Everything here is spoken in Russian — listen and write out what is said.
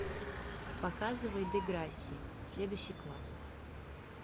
показывай деграсси следующий класс